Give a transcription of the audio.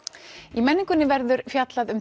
í menningunni verður fjallað um